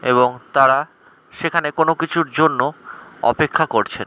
এবং তারা সেইখানে কোনো কিছুর জন্য অপেক্ষা করছেন।